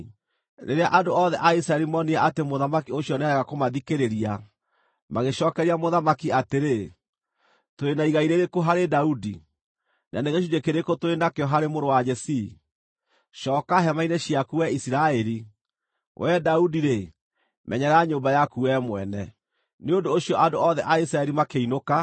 Rĩrĩa andũ othe a Isiraeli moonire atĩ mũthamaki ũcio nĩarega kũmathikĩrĩria, magĩcookeria mũthamaki atĩrĩ: “Tũrĩ na igai rĩrĩkũ harĩ Daudi, na nĩ gĩcunjĩ kĩrĩkũ tũrĩ nakĩo harĩ mũrũ wa Jesii? Cooka hema-inĩ ciaku wee Isiraeli! Wee Daudi-rĩ, menyerera nyũmba yaku wee mwene.” Nĩ ũndũ ũcio andũ othe a Isiraeli makĩinũka.